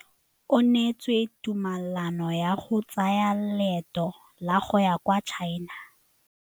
O neetswe tumalanô ya go tsaya loetô la go ya kwa China.